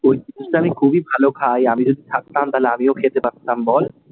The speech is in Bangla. ওই জিনিসটা আমি খুবই ভালো খাই, আমি যদি থাকতাম, তালে আমিও খেতে পারতাম বল?